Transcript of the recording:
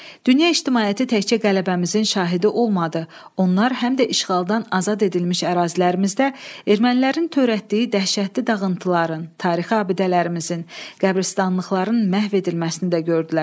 Dünya ictimaiyyəti təkcə qələbəmizin şahidi olmadı, onlar həm də işğaldan azad edilmiş ərazilərimizdə ermənilərin törətdiyi dəhşətli dağıntıların, tarixi abidələrimizin, qəbristanlıqların məhv edilməsini də gördülər.